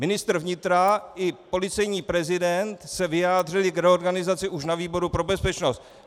Ministr vnitra i policejní prezident se vyjádřili k reorganizaci už na výboru pro bezpečnost.